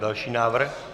Další návrh.